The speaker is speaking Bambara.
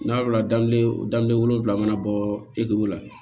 N'a wolola dan ye wolonfila mana bɔ la